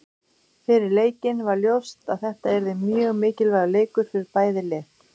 Fyrir leikinn var ljóst að þetta yrði mjög mikilvægur leikur fyrir bæði lið.